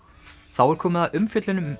þá er komið að umfjöllun um